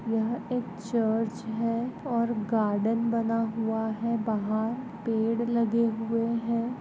यह एक चर्च है और गार्डन बना हुआ है बाहर पेड लगे हुए है।